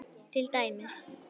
Til dæmis